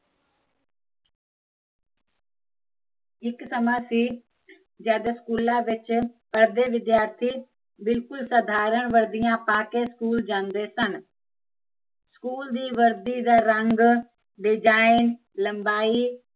ਇੱਕ ਸਮਾਂ ਸੀ ਜਦ ਸਕੂਲਾਂ ਵਿੱਚ ਪੜਦੇ ਵਿਦਿਆਰਥੀ ਬਿਲਕੁਲ ਸਧਾਰਨ ਵਰਦੀਆਂ ਪਾਕੇ ਸਕੂਲ ਜਾਂਦੇ ਸਨ ਸਕੂਲ ਦੀ ਵਰਦੀ ਦਾ ਰੰਗ, ਲਬਾਈ